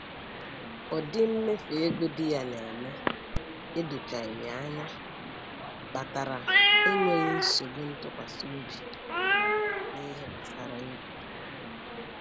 Ụdị mmefu ego di ya na-eme edochaghị ya anya kpatara enweghị nsogbu ntụkwasịobi n'ihe gbasara ego